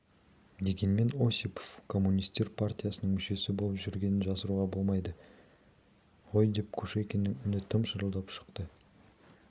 дегенмен осипов коммунистер партиясының мүшесі болып жүргенін жасыруға болмайды ғой деп кушекиннің үні тым шырылдап шықты